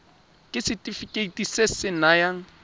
ke setefikeiti se se nayang